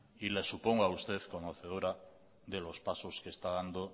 y le supongo a usted conocedora de los pasos que está dando